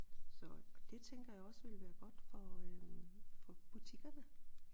Så og det tænker jeg også vil være godt for øh for butikkerne